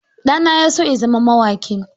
Ɗana ya so ya zama mawaƙi.